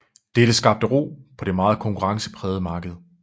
Dette skabte ro på det meget konkurrenceprægede marked